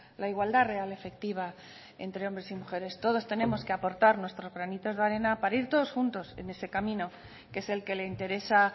la igualdad real efectiva entre hombres y mujeres todos tenemos que aportar nuestros granitos de arena para ir todos juntos en ese camino que es el que le interesa